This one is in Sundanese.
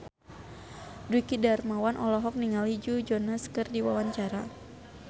Dwiki Darmawan olohok ningali Joe Jonas keur diwawancara